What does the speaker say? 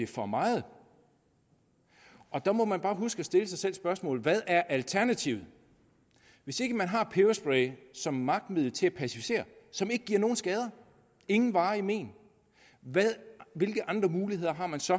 for meget og der må man bare huske at stille sig selv spørgsmålet hvad er alternativet hvis ikke man har peberspray som magtmiddel til at pacificere som ikke giver nogen skader ingen varige men hvilke andre muligheder har man så